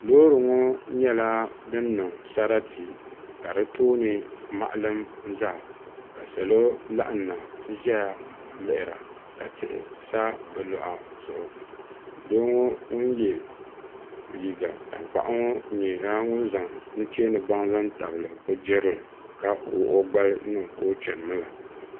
Loori ŋɔ nyɛla dini niŋ sarati ka di tooni maɣilim zaa la salo laɣim na nti zaya nlihiri a ka tihi sa bi luɣa zuɣu doo ŋuni ye liiga tankpaɣu ŋɔ nyɛla ŋuni zaŋ nuchɛ ni baŋ zaŋ tabili o girili ka quɣio gbali niŋka o chɛni mi la.